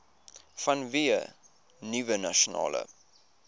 vanweë nuwe nasionale